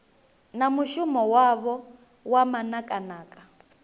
na mushumo wavho wa manakanaka